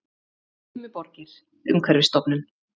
Dimmuborgir- Umhverfisstofnun.